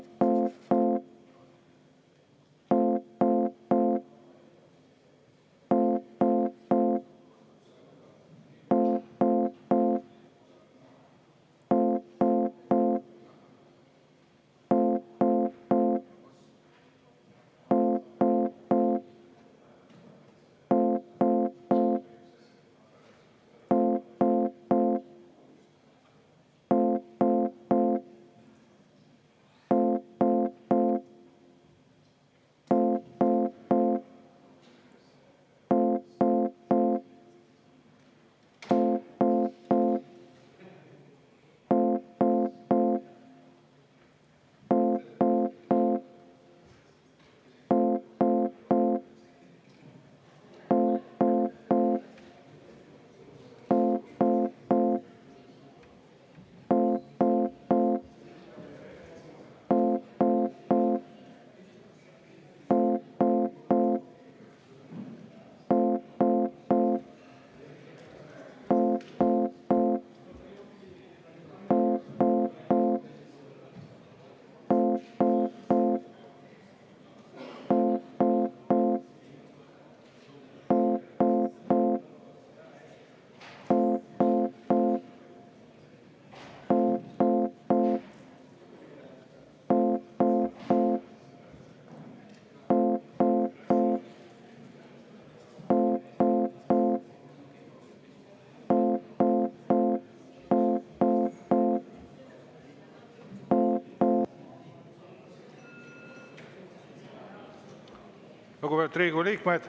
Lugupeetud Riigikogu liikmed!